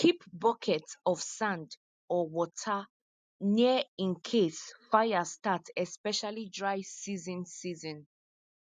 keep bucket of sand or water near in case fire start especially dry season season